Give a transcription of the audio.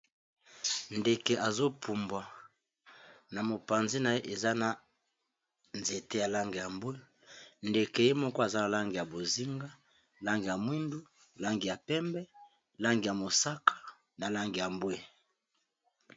Ndeke azopumbwa, na mopanzi na ye eza na nzete ya langi ya mbwe, ndeke ye moko aza na langi ya bozinga, langi ya mwindu, langi ya pembe, langi ya mosaka, na langi ya mbwe,